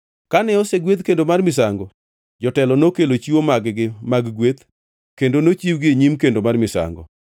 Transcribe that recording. Kane osegwedh kendo mar misango, jotelo nokelo chiwo mag-gi mag gweth kendo nochiwgi e nyim kendo mar misango.